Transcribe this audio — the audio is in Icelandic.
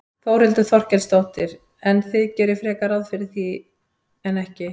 Þórhildur Þorkelsdóttir: En þið gerið frekar ráð fyrir því en ekki?